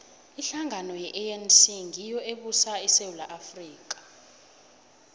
ihlangano ye anc ngiyo ebusa isewula afrika